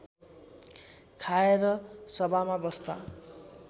खाएर सभामा बस्दा